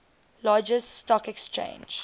largest stock exchange